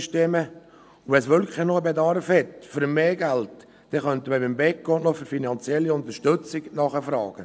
Wenn dann wirklich noch ein Bedarf an mehr Geld besteht, könnte man beim Beco noch für finanzielle Unterstützung nachfragen.